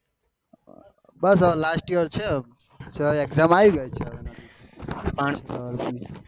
બસ હવે last year છે exam